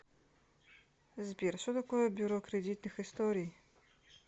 сбер что такое бюро кредитных историй